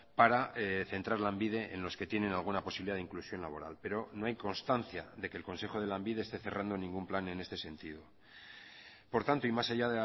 para centrar lanbide en los que tienen alguna posibilidad de inclusión laboral pero no hay constancia de que el consejo de lanbide esté cerrando ningún plan en este sentido por tanto y más allá